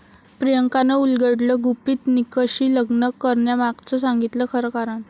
प्रियांकानं उलगडलं गुपित, निकशी लग्न करण्यामागचं सांगितलं खरं कारण!